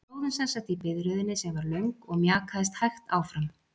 Við stóðum semsagt í biðröðinni sem var löng og mjakaðist hægt áfram.